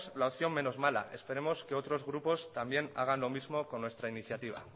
la opción menos mala esperemos que otros grupos también hagan lo mismo con nuestra iniciativa